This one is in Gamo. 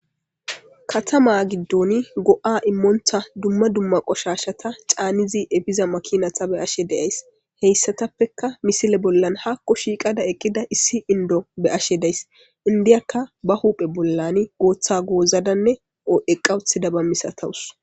Katama gidoni go'a imonta dumma dumma qoshashata canizi efiza makinata beyashe dayisi, hayisatapeka misile bollani ha shiqa eqida issi indo beyashe dayis, he indiyakka ba huphe bollan gotha gozada eqa utida misatawus.